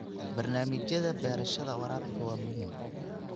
Barnaamijyada beerashada waraabka waa muhiim.